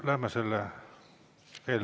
Läheme selle eelnõu juurde.